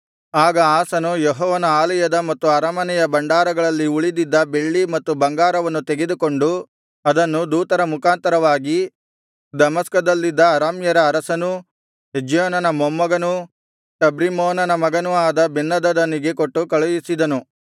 ಆಗ ಆಸನು ಯೆಹೋವನ ಆಲಯದ ಮತ್ತು ಅರಮನೆಯ ಭಂಡಾರಗಳಲ್ಲಿ ಉಳಿದಿದ್ದ ಬೆಳ್ಳಿ ಮತ್ತು ಬಂಗಾರವನ್ನು ತೆಗೆದುಕೊಂಡು ಅದನ್ನು ದೂತರ ಮುಖಾಂತರವಾಗಿ ದಮಸ್ಕದಲ್ಲಿದ್ದ ಅರಾಮ್ಯರ ಅರಸನೂ ಹೆಜ್ಯೋನನ ಮೊಮ್ಮಗನೂ ಟಬ್ರಿಮ್ಮೋನನ ಮಗನೂ ಆದ ಬೆನ್ಹದದನಿಗೆ ಕೊಟ್ಟು ಕಳುಹಿಸಿದನು